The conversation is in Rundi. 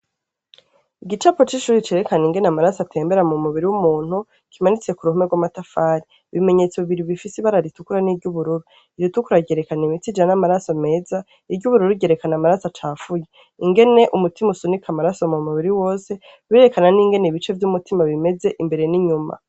Igicapu c'ishuri cerekana ingene amaraso atembera mu mubiri w'umuntu kimanitse ku ruhome rw'amatafari. Ibimenyetso bibiri bifise ibara ritukura n'iry'ubururu. Iritukura ryerekana imitsi ijana amaraso meza, iry'ubururu ryerekana amaraso acafuye. Ingene umutima usunika amaraso mu mubiri wose birerekana n'ingene ibice vy'umutima bimeze imbere n'inyuma.